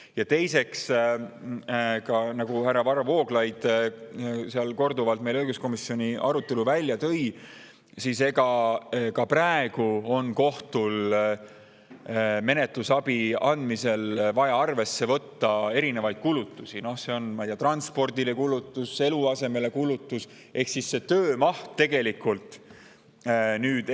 Ja teiseks, nagu härra Varro Vooglaid korduvalt õiguskomisjoni arutelul välja tõi, on ka praegu kohtul menetlusabi andmisel vaja arvesse võtta erinevaid kulutusi – ma ei tea, kulutusi transpordile, kulutusi eluasemele – ehk siis see töömaht tegelikult ei suurene.